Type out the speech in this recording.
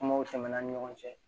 Kumaw tɛmɛ an ni ɲɔgɔn cɛ